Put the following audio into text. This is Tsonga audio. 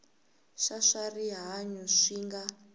xa swa rihanyu swi nga